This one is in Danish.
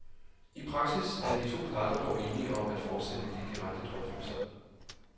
I praksis er de to parter dog enige om at fortsætte de direkte drøftelser.